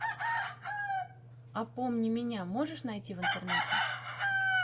а помни меня можешь найти в интернете